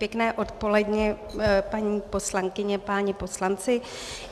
Pěkné odpoledne, paní poslankyně, páni poslanci.